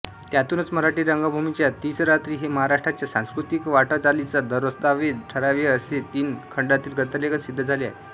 त्यातूनच मराठी रंगभूमीच्या तीसरात्री हे महाराष्ट्राच्या सांस्कृतिकवाटचालीचा दस्तावेज ठरावेअसे तीन खंडातील ग्रंथलेखन सिद्ध झाले आहे